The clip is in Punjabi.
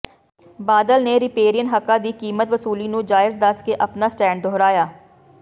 ਬਾਦਲ ਨੇ ਰਿਪੇਰੀਅਨ ਹੱਕਾਂ ਦੀ ਕੀਮਤ ਵਸੂਲੀ ਨੂੰ ਜਾਇਜ਼ ਦੱਸ ਕੇ ਆਪਣਾ ਸਟੈਂਡ ਦੁਹਰਾਇਆ